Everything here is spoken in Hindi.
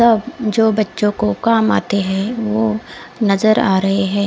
तब जो बच्चों को काम आते हैं वो नजर आ रहे है।